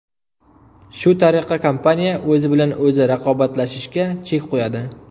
Shu tariqa, kompaniya o‘zi bilan o‘zi raqobatlashishga chek qo‘yadi.